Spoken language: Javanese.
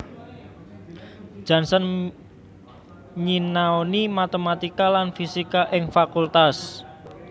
Janssen nyinaoni matematika lan fisika ing Fakultas